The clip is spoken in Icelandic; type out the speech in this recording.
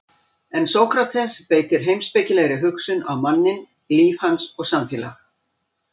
En Sókrates beitir heimspekilegri hugsun á manninn, líf hans og samfélag.